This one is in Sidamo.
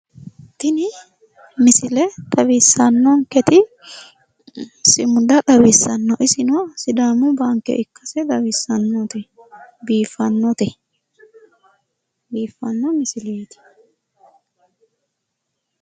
Tini misile xawissannonketi sumuda xawissanno isino sidaamu baanke ikkase xawissannote, biiffanote, biiffanno misileeti.